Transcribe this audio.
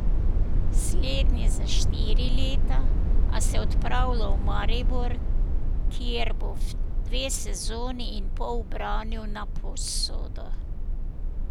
Slednji za štiri leta, a se odpravlja v Maribor, kjer bo dve sezoni in pol branil na posodo.